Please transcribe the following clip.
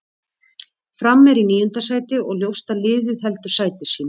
Fram er í níunda sæti og ljóst að liðið heldur sæti sínu.